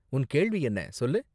உன் கேள்வி என்ன, சொல்லு?